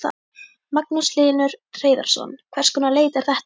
Magnús Hlynur Hreiðarsson: Hvers konar leit er þetta?